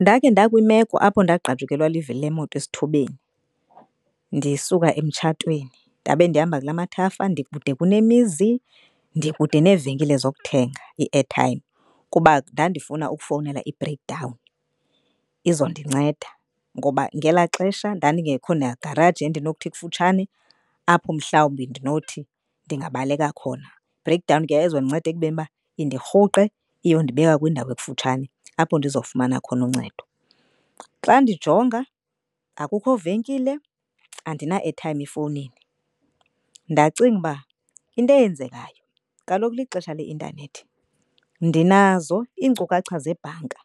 Ndakhe ndakwimeko apho ndagqajukelwa livili lemoto esithubeni ndisuka emtshatweni ndabe ndihamba kula mathafa. Ndikude kunemizi, ndikude neevenkile zokuthenga i-airtime kuba ndandifuna ukufowunela i-break down izondinceda. Noba ngelaa xesha ndandingekho nagaraji endinokuthi ikufutshane apho mhlawumbi ndinothi ndingabaleka khona. Break down ke yayizondinceda ekubeni uba indirhuqe iyondibeka kwindawo ekufutshane apho ndizawufumana khona uncedo. Xa ndijonga akukho venkile, andina-airtime efowunini. Ndacinga uba into eyenzekayo kaloku lixesha leintanethi ndinazo iinkcukacha zebhanka